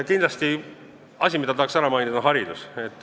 Kindlasti asi, mida tahan ära mainida, on haridus.